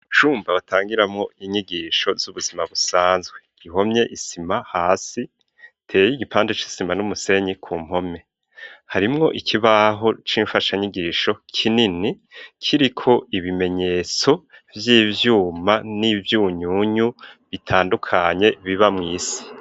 Icumba batangiramo inyigisho z'ubuzima busanzwe ihomye isima hasi teye y'igipande c'isima n'umusenyi ku mpome harimwo ikibaho c'imfasha nyigisho kinini kiriko ibimenyetso by'ivyuma n'ibyunyunyu bitandukanye biba mu isi.